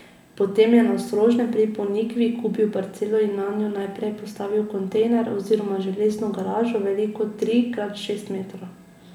Potem je na Ostrožnem pri Ponikvi kupil parcelo in nanjo najprej postavil kontejner oziroma železno garažo, veliko tri krat šest metrov.